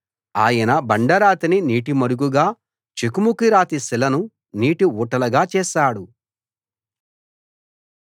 ఆయన బండరాతిని నీటిమడుగుగా చెకుముకి రాతి శిలను నీటి ఊటలుగా చేశాడు